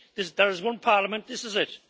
There is one parliament this is it.